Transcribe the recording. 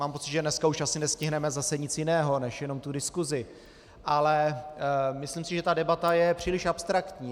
Mám pocit, že dneska už asi nestihneme zase nic jiného než jenom tu diskusi, ale myslím si, že ta debata je příliš abstraktní.